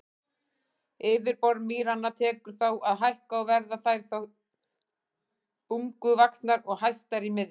Yfirborð mýranna tekur þá að hækka og verða þær þá bunguvaxnar og hæstar í miðju.